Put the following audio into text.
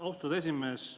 Austatud esimees!